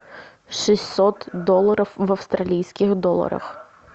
шестьсот долларов в австралийских долларах